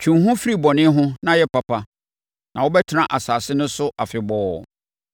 Twe wo ho firi bɔne ho na yɛ papa na wobɛtena asase no so afebɔɔ.